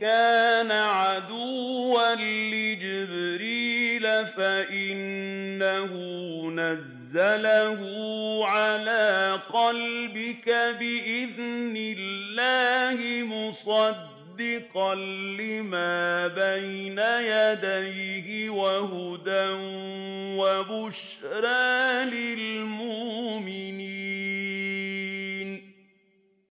كَانَ عَدُوًّا لِّجِبْرِيلَ فَإِنَّهُ نَزَّلَهُ عَلَىٰ قَلْبِكَ بِإِذْنِ اللَّهِ مُصَدِّقًا لِّمَا بَيْنَ يَدَيْهِ وَهُدًى وَبُشْرَىٰ لِلْمُؤْمِنِينَ